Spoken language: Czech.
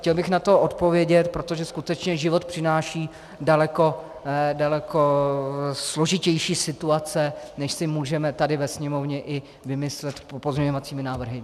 Chtěl bych na to odpovědět, protože skutečně život přináší daleko složitější situace, než si můžeme tady ve Sněmovně i vymyslet pozměňovacími návrhy.